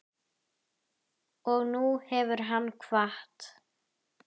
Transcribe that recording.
Og nú hefur hann kvatt.